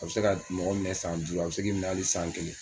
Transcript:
A bɛ se ka mɔgɔ minɛ san duuru a bɛ se k'i minɛ hali san kelen